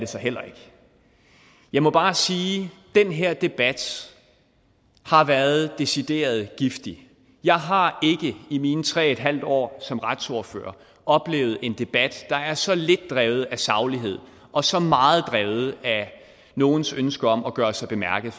så heller ikke jeg må bare sige at den her debat har været decideret giftig jeg har ikke i mine tre et halvt år som retsordfører oplevet en debat der er så lidt drevet af saglighed og så meget drevet af nogens ønske om at gøre sig bemærket